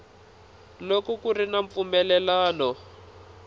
loko ku ri na mpfumelelano